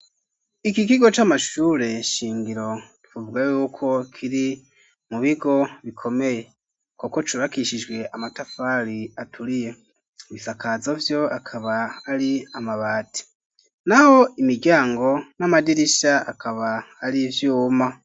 Iki kigo, c'amashure shingiro, twovuga y'uko, kiri mu bigo bikomeye; kuko cubakishijwe, amatafari aturiye, ibisakazo vyo, akaba ari amabati; naho imiryango n'amadirisha, akaba ari ivyuma.